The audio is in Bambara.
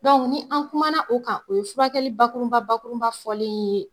Dɔnku ni an kumana o kan o ye furakɛli bakurunba bakurunba fɔlen ye